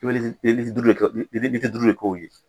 I be duuru de k'o ye.